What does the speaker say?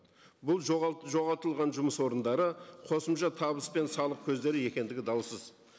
бұл жоғалтылған жұмыс орындары қосымша табыс пен салық көздері екендігі даусыз